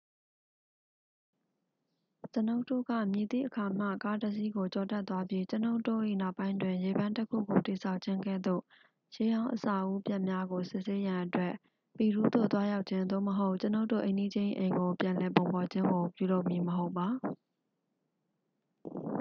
ကျွန်ုပ်တို့က မည်သည့်အခါမှ ကားတစ်စီးကို ကျော်တက်သွားပြီး ကျွန်ုပ်တို့၏ နောက်ပိုင်းတွင် ရေပန်းတစ်ခုကို တည်ဆောက်ခြင်းကဲ့သို့ ရှေးဟောင်း အဆောက်အဦးပျက်များကို စစ်ဆေးရန်အတွက် ပီရူးသို့ သွားရောက်ခြင်း သို့မဟုတ် ကျွန်ုပ်တို့ အိမ်နီးချင်း၏ အိမ်ကို ပြန်လည်ပုံဖော်ခြင်းကို ပြုလုပ်မည်မဟုတ်ပါ